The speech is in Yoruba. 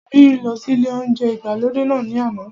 Biyi lọ sí ilé óúnjẹ ìgbàlódé náà ní àná